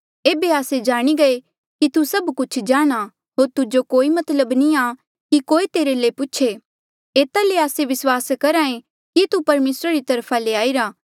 एेबे आस्से जाणी गये कि तू सब कुछ जाणहां होर तुजो कोई मतलब नी आ कि कोई तेरे ले पूछे एता ले आस्से विस्वास करहा ऐें कि तू परमेसरा री तरफा ले आईरा